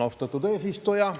Austatud eesistuja!